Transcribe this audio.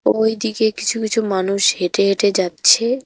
ওইদিকে কিছু কিছু মানুষ হেঁটে হেঁটে যাচ্ছে।